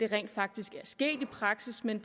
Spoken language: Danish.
rent faktisk er sket i praksis men